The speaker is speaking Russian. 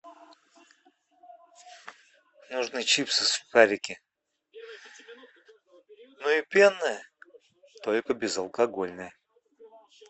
нужны чипсы сухарики ну и пенное только безалкогольное